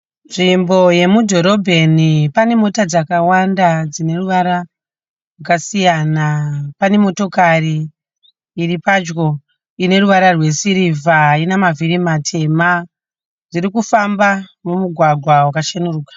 Nzvimbo yemudhorobheni pane mota dzakawanda dzine ruvara rwakasiyana, pane motokari iri padyo ine ruvara rwe sirivha ina mavhiri matema, dzirikufamba mugwagwa rwakacheneruka.